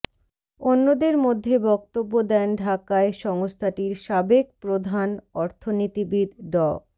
অন্যদের মধ্যে বক্তব্য দেন ঢাকায় সংস্থাটির সাবেক প্রধান অর্থনীতিবিদ ড